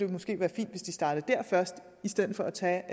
måske være fint hvis de startede der først i stedet for at tage